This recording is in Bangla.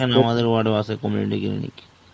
আমাদের ward এও আছে Community unit.